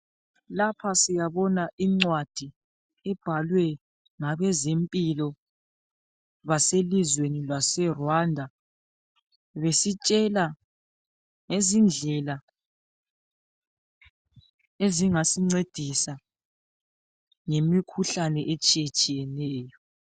Lapha siyabona incwadi ibhalwe ngabezemphilo base lizweni laseRwanda. Besitshela ngezindlela ezingasincedisa ngemikhuhlane etshiyatshiyeneyo.